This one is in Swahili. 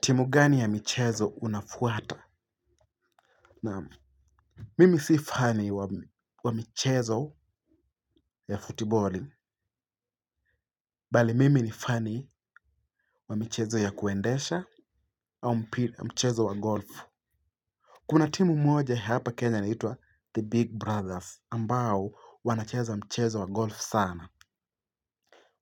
Timu gani ya michezo unafuata? Naam mimi si fani wa michezo ya futiboli. Bali mimi ni fani wa michezo ya kuendesha au mchezo wa golfu. Kuna timu moja hapa kenya inaitwa The Big Brothers ambao wanacheza mchezo wa golf sana.